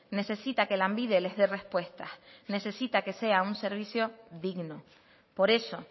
necesita que lanbide les dé respuestas necesita que sea un servicio digno por eso